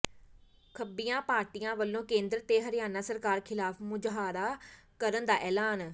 ਖੱਬੀਆਂ ਪਾਰਟੀਆਂ ਵੱਲੋਂ ਕੇਂਦਰ ਤੇ ਹਰਿਆਣਾ ਸਰਕਾਰ ਖ਼ਿਲਾਫ਼ ਮੁਜ਼ਾਹਰਾ ਕਰਨ ਦਾ ਐਲਾਨ